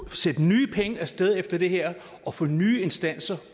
sende nye penge af sted efter det her og få nye instanser